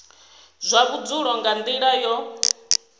zwa vhudzulo nga nila yo